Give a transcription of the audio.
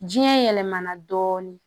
Jiyɛn yɛlɛmana dɔɔni